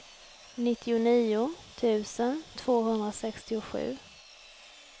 nittionio tusen tvåhundrasextiosju